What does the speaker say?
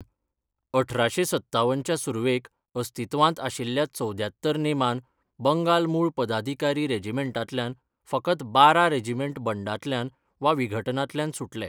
अठराशें सत्तावन च्या सुर्वेक अस्तित्वांत आशिल्ल्या चवद्यांत्तर नेमान बंगाल मुळ पदाधिकारी रेजिमेंटांतल्यान फकत बारा रेजिमेंट बंडांतल्यान वा विघटनांतल्यान सुटले.